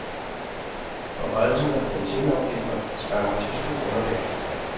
Forhøjelsen af benzinafgifter skræmmer tyske kunder væk.